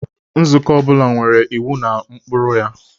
Nzukọ ọ bụla nwere iwu na ụkpụrụ ya.